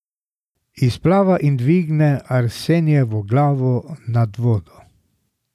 Izplava in dvigne Arsenijevo glavo nad vodo.